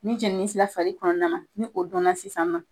Ni jɛnini sera fali kɔnɔna na ni o donna sisan nɔ